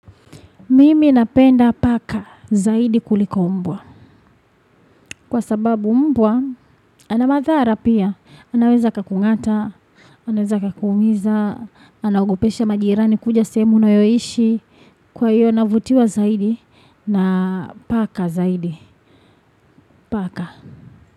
Mimi napenda paka zaidi kuliko mbwa. Kwa sababu mbwa, anamadhara pia. Anaweza aka kung'ata, anaweza akakuumiza, anaogopesha majirani kuja sehemu unayoishi. Kwa hiyo, navutiwa zaidi, na paka zaidi, paka.